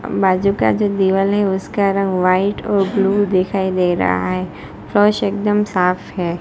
बाजू का जो दिवाल है उसका रंग व्हाइट और ब्लू दिखाई दे रहा है फर्श एकदम साफ है।